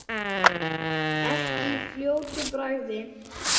Ekki í fljótu bragði.